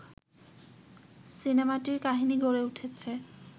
সিনেমাটির কাহিনি গড়ে উঠেছে